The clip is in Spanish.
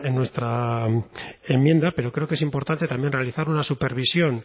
en nuestra enmienda pero creo que es importante también realizar una supervisión